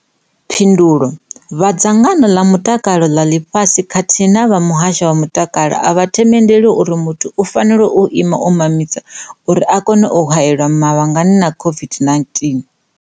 Phindulo, Vha Dzangano ḽa Mutakalo ḽa Ḽifhasi kha thihi na vha Muhasho wa Mutakalo a vha themendeli uri muthu u fanela u ima u mamisa uri a kone u haelwa mavhangani na COVID-19.